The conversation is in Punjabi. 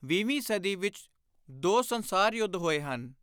ਵੀਹਵੀਂ ਸਦੀ ਵਿਚ ਦੋ ਸੰਸਾਰ ਯੁੱਧ ਹੋਏ ਹਨ।